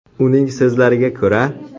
Uning so‘zlariga ko‘ra.